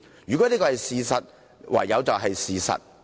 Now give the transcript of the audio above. "如果這是事實，就唯有是事實"。